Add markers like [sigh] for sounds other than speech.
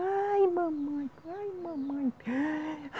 Ai, mamãe, ai, mamãe. [sighs]